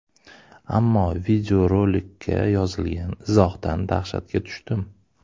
Ammo videorolikka yozilgan izohdan dahshatga tushdim.